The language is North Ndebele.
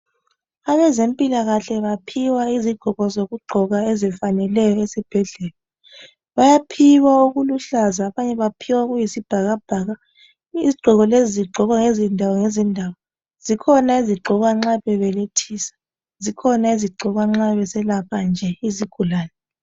Abezempilakahle baphiwa izigqoko zokugqoka ezifaneleyo ezibhedlela. Bayaphiwa okuluhlaza, abanye baphiwa okuyisibhakabhaka. Izigqoko lezi zigqokwa ngezindawo ngezindawo. Zikhona ezigqokwa nxa bebelethisa, zikhona ezigqokwa nxa beselapha nje izigulane.